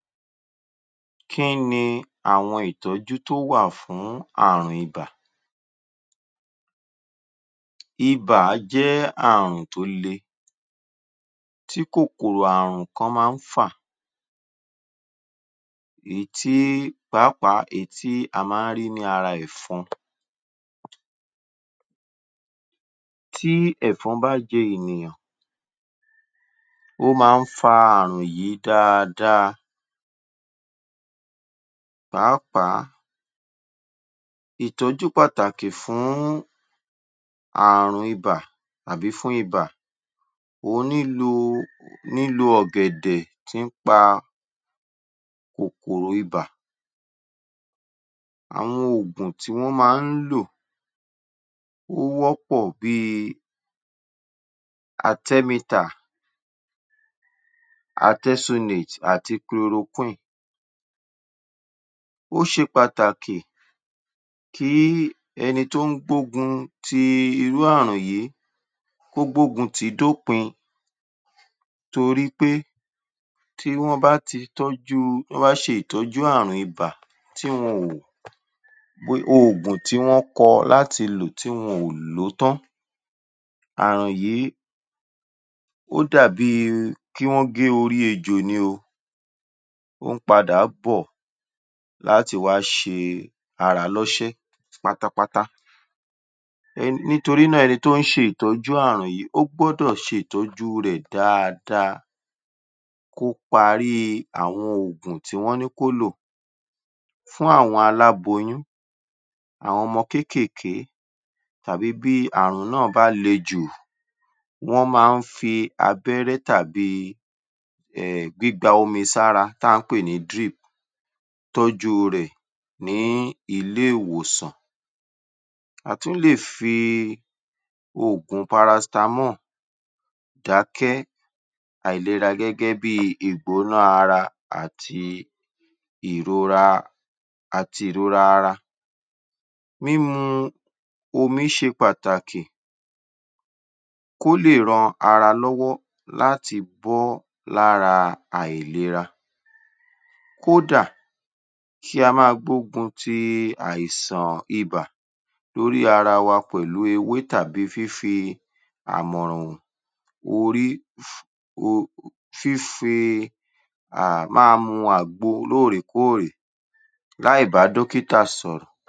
Kí ni àwọn ìtọ́jú tó wà fún ààrùn ibà? Ibà jẹ́ ààrùn tó le tí kòkòrò ààrùn kan máa ń fà èyí tí pàápàá èyí tí a máa ń rí lára ẹ̀fọn. Tí ẹ̀fọn bá jẹ ènìyàn ó máa ń fa ààrùn yìí dáadáa pàápàá ìtọ́jú pàtàkì fún ààrùn ibà àbí fún ibà ó nílò ọ̀gẹ̀dẹ̀ tí ń pa kòkòrò ibà. Àwọn ògùn tí wọ́n máa ń lò ó wọ́pọ̀ bí i artemeter, artesunate àti chloroquine ó ṣe pàtàkì kí ẹni tó ń gbógun ti irú ààrùn yìí kó gbógun tì í dópin torí pé tí wọ́n bá ti tọ́jú tí wọ́n bá ṣe tọ́jú ààrùn ibà tí wọn ò gbé oògùn tí wọ́n kọ láti lò tí wọn ò lò ó tán, ààrùn yìí ó dàbí kí wọ́n ó gé orí ejò ni o, ó ń padà bọ̀ láti wá se ara lọ́ṣẹ́ pátápátá um nítorí náà ẹni tó ń se ìtọ́jú ààrùn yìí ó gbúdọ̀ ṣe ìtọ́jú rẹ̀ dáadáa kó parí àwọn ògùn tí wọ́n ní kó lò fún àwọn aláboyún, àwọn ọmọ kékèké tàbí bí ààrùn náà bá le jù wọ́n máa ń fi abẹ́rẹ́ tàbí um gbígba omi sára tà ń pè ní drip tọ́jú rẹ̀ ní ilé-ìwòsàn. A tún lè fi oògun paracetamol dákẹ́ àìlera gẹ́gẹ́ bí i ìgbóná ara àti ìrora àti ìrora ara. Mímu omi ṣe pàtàkì kó lè ran ara lọ́wọ́ láti bọ́ lára àìlera. Kó dà, kí a máa gbógun ti àìsàn ibà lórí ara wa pẹ̀lú ewé tàbí fífi àmọ̀ràn hàn orí um fífi um máa mu àgbo lóòrèkóòrè láì bá dọ́kítà sọ̀rọ̀.